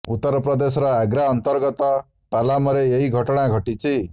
ଉତ୍ତର ପ୍ରଦେଶର ଆଗ୍ରା ଅନ୍ତର୍ଗତ ପାଲାମରେ ଏହି ଘଟଣା ଘଟିଛି